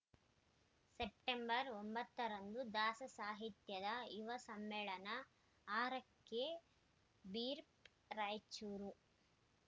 September ಒಂಬತ್ತ ರಂದು ದಾಸಸಾಹಿತ್ಯದ ಯುವ ಸಮ್ಮೇಳನ ಆರಕ್ಕೆ ಬ್ರೀಫ್‌ ರಾಯಚೂರು